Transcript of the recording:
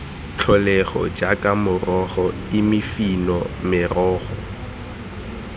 tlholego jaaka morogo imifino merogo